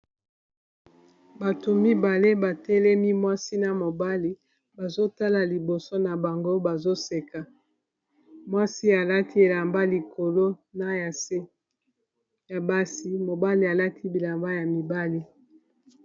bato mibale batelemi mwasi na mobali bazotala liboso na bango bazoseka mwasi alati elamba likolo na ya se ya basi mobali alati bilamba ya mibali